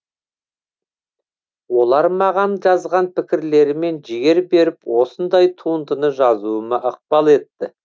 олар маған жазған пікірлерімен жігер беріп осындай туындыны жазуыма ықпал етті